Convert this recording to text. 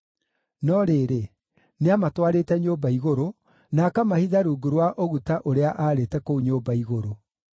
(No rĩrĩ, nĩamatwarĩte nyũmba igũrũ, na akamahitha rungu rwa ũguta ũrĩa aarĩte kũu nyũmba igũrũ).